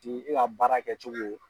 Ti e ka baara kɛcogo